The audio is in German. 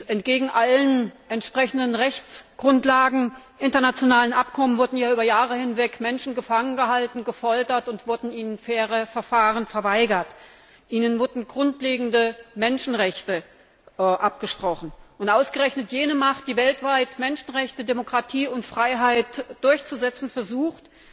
Entgegen allen entsprechenden Rechtsgrundlagen und internationalen Abkommen wurden über Jahre hinweg Menschen gefangen gehalten und gefoltert, und faire Verfahren wurden ihnen verweigert. Ihnen wurden grundlegende Menschenrechte abgesprochen. Ausgerechnet jene Macht, die weltweit Menschenrechte, Demokratie und Freiheit durchzusetzen versucht,